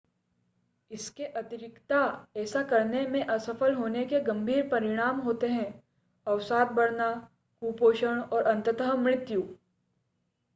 इसके अतिरिक्ता ऐसा करने में असफल होने के गंभीर परिणाम होते हैं अवसाद बढ़ना कुपोषण और अंततः मृत्यु